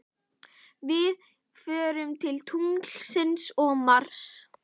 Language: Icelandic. Við förum til tunglsins og Mars.